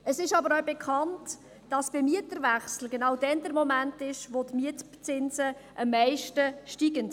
Es ist auch bekannt, dass bei Mieterwechsel der Moment ist, wo die Mietzinse am meisten steigen.